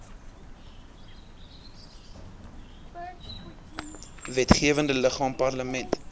wetgewende liggaam parlement